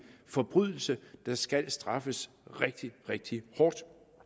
forbrydelse der skal straffes rigtig rigtig hårdt